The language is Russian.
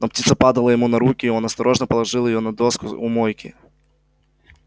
но птица падала ему на руки и он осторожно положил её на доску у мойки